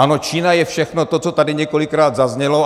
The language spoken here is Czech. Ano, Čína je všechno to, co tady několikrát zaznělo.